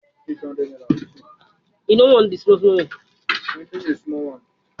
Rara, Emi yoo ra iwe-igbọnsẹ miiran laipẹ